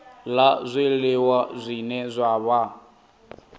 la zwiliwa zwine zwa vha